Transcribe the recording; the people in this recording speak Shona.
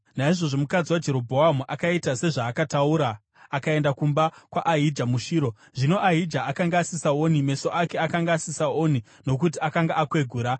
Naizvozvo mukadzi waJerobhoamu akaita sezvaakataura akaenda kumba kwaAhija muShiro. Zvino Ahija akanga asisaoni; meso ake akanga asisaoni nokuti akanga akwegura.